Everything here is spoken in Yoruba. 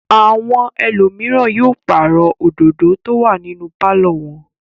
Àwọn ẹlòmíràn yóò pàrọ̀ òdòdó tó wà nínú pálọ̀ wọn.